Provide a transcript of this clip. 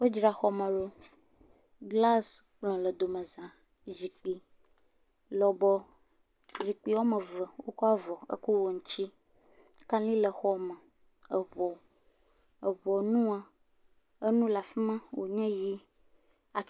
Wodzra xɔ me ɖo, glas kplɔ le domeza, zikpui lɔbɔ, zikpui woame eve. Wokɔ avɔ ekɔ wɔ ŋuti, kaɖi le xɔ me, eŋɔ eŋɔ nua, enu le afi ma, wònye ʋɛ̃.